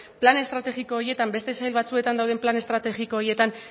plan estrategiko horietan beste sail batzuetan dauden plan estrategiko horietan